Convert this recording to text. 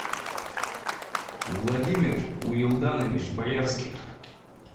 владимир уилданович боярских